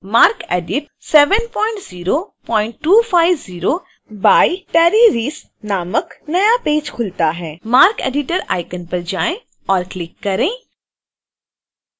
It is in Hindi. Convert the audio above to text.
marcedit 70250 by terry reese नामक नया पेज खुलता है